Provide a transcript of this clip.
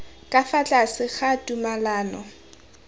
ka fa tlase ga tumalano